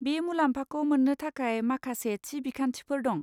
बे मुलाम्फाखौ मोन्नो थाखाय माखासे थि बिखान्थिफोर दं।